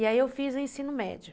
E aí eu fiz o ensino médio.